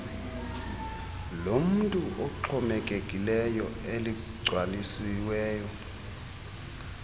lomntu oxhomekekileyo eligcwalisiweyo